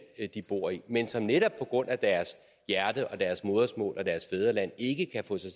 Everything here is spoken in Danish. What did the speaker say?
de bor i men som netop på grund af deres hjerte og deres modersmål og deres fædreland ikke kan få sig